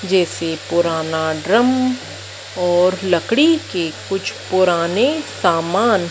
जैसे पुराना ड्रम और लकड़ी के कुछ पुराने सामान--